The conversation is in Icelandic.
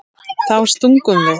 Þá stungum við